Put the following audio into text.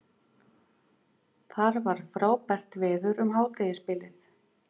Þar var frábært veður um hádegisbilið